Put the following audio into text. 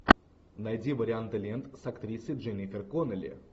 найди варианты лент с актрисой дженнифер коннелли